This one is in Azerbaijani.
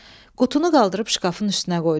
Qutunu qaldırıb şkafın üstünə qoydum.